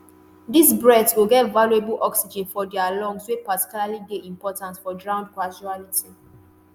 these breaths go get valuable oxygen for dia lungs wey particularly dey important for drowned casualty.